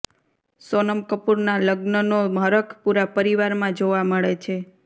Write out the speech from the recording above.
સોનમ કપૂરના લગ્નનો હરખ પૂરા પરિવારમાં જોવા મળી છે